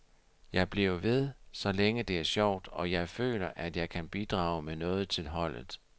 Jeg bliver ved så længe det er sjovt, og jeg føler, at jeg kan bidrage med noget til holdet.